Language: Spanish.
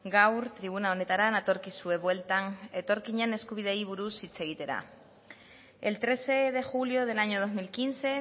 gaur tribuna honetara natorkizue bueltan etorkinen eskubideei buruz hitz egitera el trece de julio del año dos mil quince